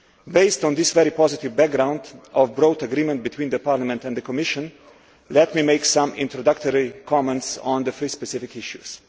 Based on this very positive background of broad agreement between Parliament and the Commission, let me make some introductory comments on the three specific issues.